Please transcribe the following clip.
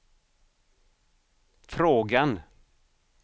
frågan